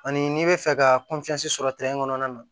Ani n'i bɛ fɛ ka sɔrɔ kɔnɔna na